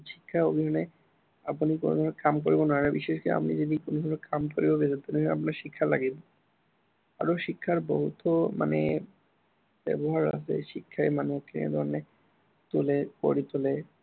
শিক্ষাৰ অবিহনে আপুনি কোনো ধৰনৰ কাম কৰিব নোৱাৰে। বিশেষকৈ আমি যদি কোনো ধৰনৰ কাম কৰিব বিচাৰো, তেনেহলে আমাক শিক্ষা লাগেই। আৰু শিক্ষাৰ বহুতো মানে ব্য়ৱহাৰ আছে, শিক্ষাই মানুহক কেনে ধৰনে তোলে, কৰি তোলে